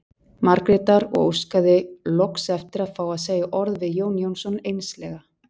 Margrétar og óskaði loks eftir að fá að segja orð við Jón Jónsson einslega.